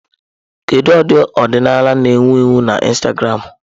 Kedu ụdị ọdịnaya na-ewu ewu na Instagramụ?